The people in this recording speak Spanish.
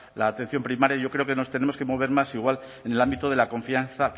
la atención primaria yo creo que nos tenemos que mover más igual en el ámbito de la confianza